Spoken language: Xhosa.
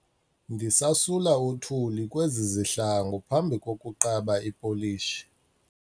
Ndisasula uthuli kwezi zihlangu phambi kokuqaba ipolishi.